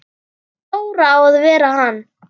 Dóri á að vera hann!